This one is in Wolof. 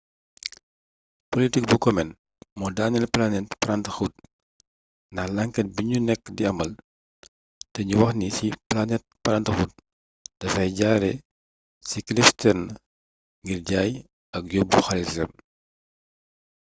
politik bu komen moo daaneel planned parenthood ndax lànket bi ñu nekk di amal te ñu wax ci ni planned parenthood dafay jaare ci cliff stearns ngir jaay ak yóbbu xaalisam